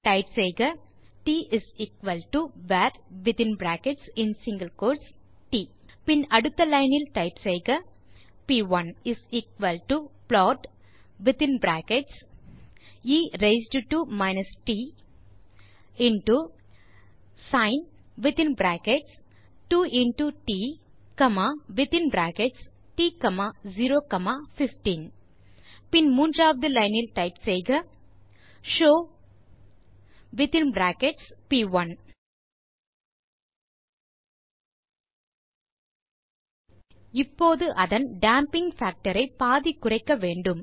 type செய்க tvarட் பின் அடுத்த லைன் டைப் செய்க p1plot of a raised to minus into sin of ட்015 பின் மூன்றாவது லைன் டைப் செய்க ஷோவ் இப்போது அதன் டேம்பிங் பாக்டர் ஐ பாதி குறைக்க வேண்டும்